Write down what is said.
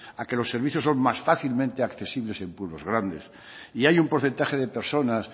a que los servicios son más fácilmente accesibles en pueblos grandes y hay un porcentaje de personas